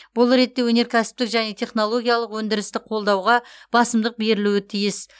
бұл ретте өнеркәсіптік және технологиялық өндірісті қолдауға басымдық берілуі тиіс